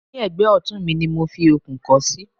ní ẹ̀gbẹ́ ọ̀tún ni mo fi okùn kọ́ sí